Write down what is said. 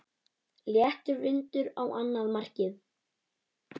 Léttur vindur á annað markið.